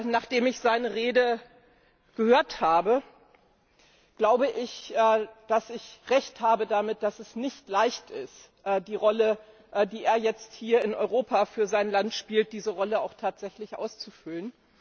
Nachdem ich seine Rede gehört habe, glaube ich, dass ich Recht habe damit, dass es nicht leicht ist, die Rolle, die er jetzt hier in Europa für sein Land spielt, auch tatsächlich auszufüllen.